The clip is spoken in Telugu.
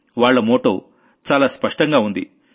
వాళ్ల మోటో చాలా స్పష్టంగా ఉంది